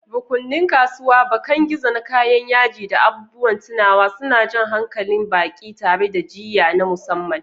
Rukunin kasuwa, bakan gizo na kayan yaji da abubuwan tunawa, suna jan hankalin baƙi tare da jiyya na musamman.